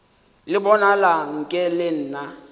le bonala nke le na